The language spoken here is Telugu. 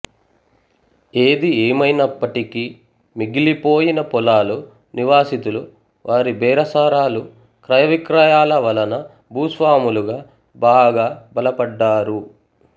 ఏది ఏమైనప్పటికీ మిగిలిపోయిన పొలాలు నివాసితులు వారి బేరసారాలు క్రయ విక్రయాల వలన భూస్వాములుగా బాగా బలపడ్డారు